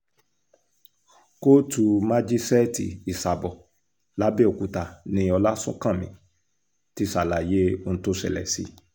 kóòtù májíṣẹ́ẹ̀tì ìsàbọ̀ làbẹ́ọ̀kúta ni ọláṣúńkanmi ti ṣàlàyé ohun tó ṣẹlẹ̀ sí i